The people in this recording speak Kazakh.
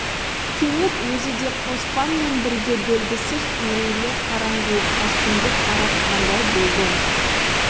кенет өзі де қоспан мен бірге белгісіз үрейлі қараңғылыққа сүңгіп баратқандай болды